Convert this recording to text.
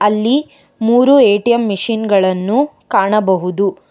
ಅಲ್ಲಿ ಮೂರು ATM machine ಗಳನ್ನು ಕಾಣಬಹುದು.